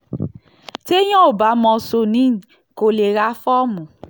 téèyàn ò bá mọ̀ ṣòní kó lè ra fọ́ọ̀mù